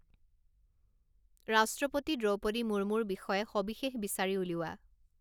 ৰাষ্ট্ৰপতি দ্ৰৌপদী মুৰ্মুৰ বিষয়ে সবিশেষ বিচাৰি উলিওৱা